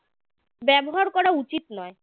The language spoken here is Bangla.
ব্যবহার করা উচিত নয়